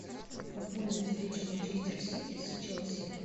футбольная встреча манчестер сити с челси